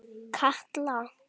Katla